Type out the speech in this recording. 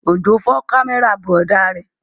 Òjó fọ́ kámẹ́rà bùrọ̀dá rẹ̀